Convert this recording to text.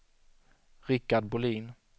Rickard Bolin